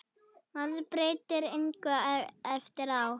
Maður breytir engu eftir á.